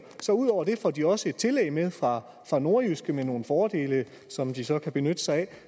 så ud over det får de også et tillæg med fra nordjyske med nogle fordele som de så kan benytte sig af